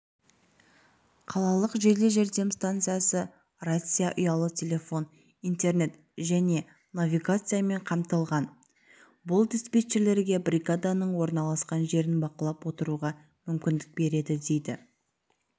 қалалық жедел жәрдем стансасы рация ұялы телефон интернет және навигациямен қамтылған бұл диспетчерлерге бригаданың орналасқан жерін бақылап отыруға мүмкіндік береді дейді